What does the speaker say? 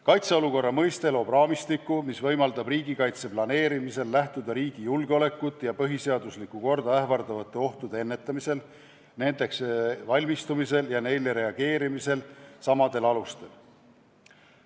Kaitseolukorra mõiste loob raamistiku, mis võimaldab riigikaitse planeerimisel lähtuda riigi julgeolekut ja põhiseaduslikku korda ähvardavate ohtude ennetamisel, nendeks valmistumisel ja neile reageerimisel samadest alustest.